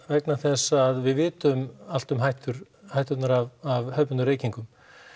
vegna þess að við vitum allt um hætturnar af hefðbundnum reykingum